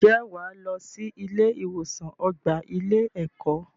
Ǹjẹ́ wà á lọ sí ilé-ìwòsàn ọgbà ilé-ẹ̀kọ́.